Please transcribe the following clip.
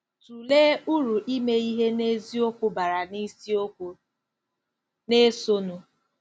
Tụlee uru ime ihe n'eziokwu bara n'isiokwu na-esonụ.